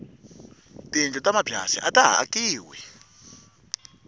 tiyindlu ta mabyasi ataha akiwi